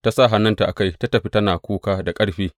Ta sa hannunta a kai, ta tafi tana kuka da ƙarfi.